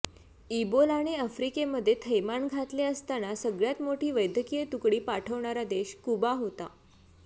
इबोलाने आफ्रिकेमध्ये थैमान घातले असताना सगळ्यात मोठी वैद्यकीय तुकडी पाठवणारा देश क्युबा होता